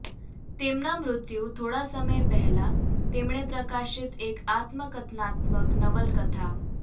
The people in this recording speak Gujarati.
તેમના મૃત્યુ થોડા સમય પહેલાં તેમણે પ્રકાશિત એક આત્મકથનાત્મક નવલકથા